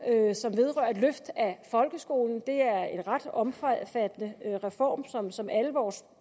som vedrører et løft af folkeskolen det er en ret omfattende reform som som alle vores